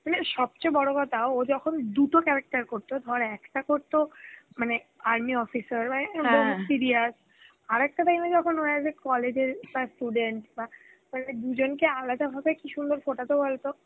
মানে সবচে বড় কথা, ও যখন দুটো character করত, ধোর একটা করত, মানে army officer, বা অ্যাঁ এইরম তখন serious, আর একটা time এ যখন ও as a college এর বা student, বা মানে দুজনকে আলাদাভাবে কি সুন্দরভাবে ফোঁটা তো বলতো?